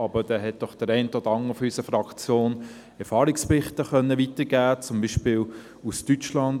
Aber, da hat doch der eine oder andere aus unserer Fraktion Erfahrungsberichte weitergeben können, zum Beispiel aus Deutschland.